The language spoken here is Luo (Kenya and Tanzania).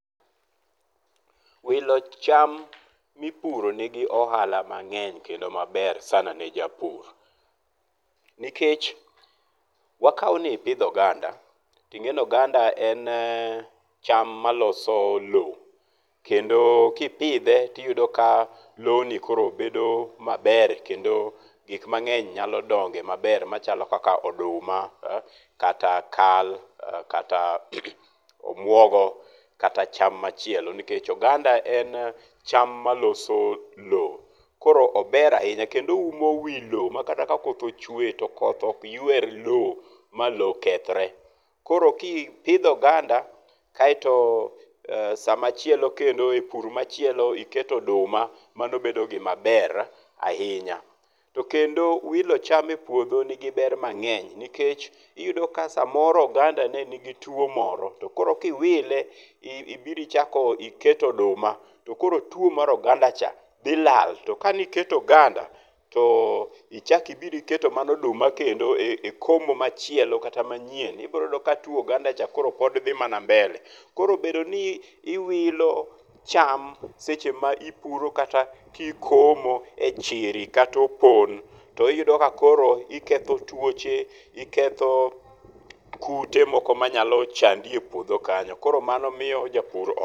Wilo cham mipuro nigi ohala mangeny kendo maber sana ne japur, nikech wakaw ni ipidho oganda tingeni oganda en cham maloso loo kendo kipidhe tiyudo ka loni koro bedo maber kendo gik mangeny nyalo donge maber machalo kaka oduma, kata kal, kata omuogo kata cham machielo nikech oganda en cham maloso loo. Koro ober ahinya kendo oumo wii loo makata ka koth ochwe to koth ok ywer loo ma loo kethre, koro kipidho oganda kaito sama chielo kendo e pur machielo iiketo oduma mano bedo gima ber ahinya. Tokendo wilo cham e puodho nigi ber mangeny nikech iyudo ka samoro oganda ne nigi tuo moro tokoro kiwile ibiro ichako iketo odumat okoro tuo mar oganda cha dhi lal. Tokane iketo oganda to. ichak ibiro iketo mana oduma kendo e komo machielo kata manyien ibiro yudo ka tuo oganda cha koro pod dhi mana mbele. Koro bedo ni iwilo cham seche ma ipuro kata ikomo e chiri kata opon to iyudo ka koro iketho tuoche, iketho kute moko manyalo chandi e puodho kanyo koro mano miyo japur...